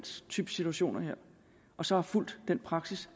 type situationer og så har fulgt den praksis